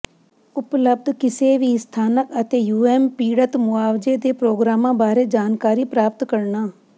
ਉਪਲਬਧ ਕਿਸੇ ਵੀ ਸਥਾਨਕ ਅਤੇ ਯੂਐਸ ਪੀੜਤ ਮੁਆਵਜ਼ੇ ਦੇ ਪ੍ਰੋਗਰਾਮਾਂ ਬਾਰੇ ਜਾਣਕਾਰੀ ਪ੍ਰਾਪਤ ਕਰਨਾ